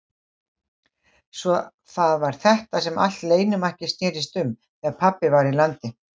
Svo það var þetta sem allt leynimakkið snerist um þegar pabbi var í landi.